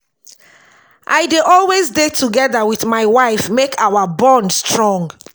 i dey always dey together wit my wife make our bond strong.